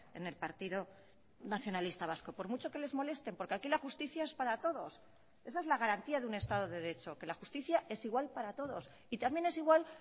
en el partido nacionalista vasco por mucho que les molesten porque aquí la justicia es para todos esa es la garantía de un estado de derecho que la justicia es igual para todos y también es igual